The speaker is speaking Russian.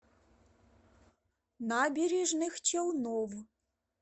набережных челнов